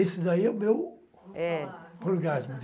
Esse daí é o meu, opa, orgasmo.